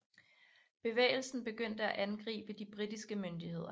Bevægelsen begyndte at angribe de britiske myndigheder